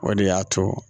O de y'a to